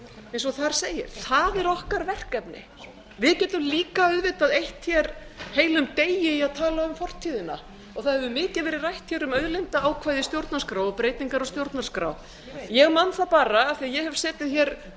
eins og þar segir það er okkar verkefni við getum líka auðvitað eytt hér heilum degi í að tala um fortíðina það hefur mikið verið rætt hér um auðlindaákvæði í stjórnarskrá og breytingar á stjórnarskrá ég man það bara af því ég hef setið hér